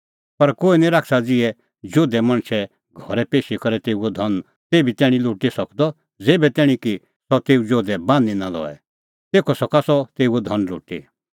पर कोहै निं शैताना ज़िहै जोधै मणछे घरै पेशी करै तेऊओ धन तेभै तैणीं लुटी सकदअ ज़ेभै तैणीं की सह तेऊ जोधै बान्हीं नां लऐ तेखअ सका सह तेऊओ धन लुटी